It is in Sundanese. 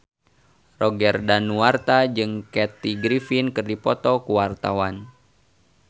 Roger Danuarta jeung Kathy Griffin keur dipoto ku wartawan